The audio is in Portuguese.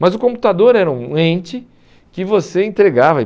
Mas o computador era um ente que você entregava.